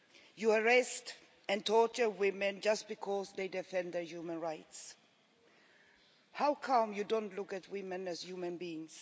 You arrest and torture women just because they defend their human rights. How come you don't look at women as human beings?